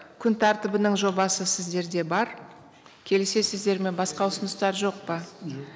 күн тәртібінің жобасы сіздерде бар келісесіздер ме басқа ұсыныстар жоқ па